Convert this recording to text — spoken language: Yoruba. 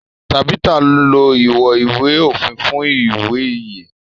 Tabitha ló iwọn ìwé òfin fún iwe yen.